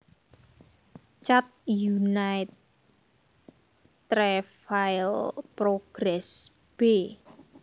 Chad Unité Travail Progrès b